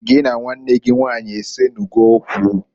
Gị na nwanne gị nwanyị esenugo okwu?